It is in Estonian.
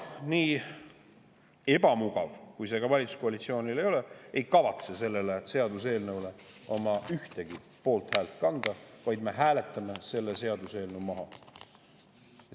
Nii ebamugav kui see valitsuskoalitsioonile ka ei ole, Isamaa ei kavatse sellele seaduseelnõule ühtegi poolthäält anda, vaid me hääletame selle seaduseelnõu maha.